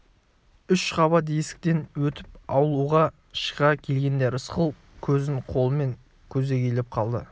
үш қабат есіктен өтіп аулаға шыға келгенде рысқұл көзін қолымен көлегейлеп қалды